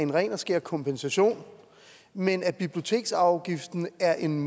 en ren og skær kompensation men at biblioteksafgiften er en